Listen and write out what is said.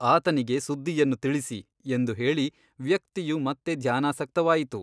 ಆತನಿಗೆ ಸುದ್ದಿಯನ್ನು ತಿಳಿಸಿ ಎಂದು ಹೇಳಿ ವ್ಯಕ್ತಿಯು ಮತ್ತೆ ಧ್ಯಾನಾಸಕ್ತವಾಯಿತು.